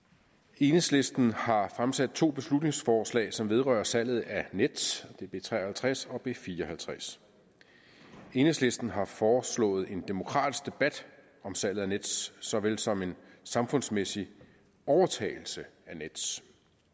enhedslisten har fremsat to beslutningsforslag som vedrører salget af nets det er b tre og halvtreds og b fire og halvtreds enhedslisten har foreslået en demokratisk debat om salget af nets såvel som en samfundsmæssig overtagelse af nets